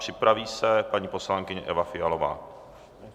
Připraví se paní poslankyně Eva Fialová.